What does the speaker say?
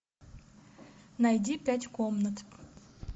найди пять комнат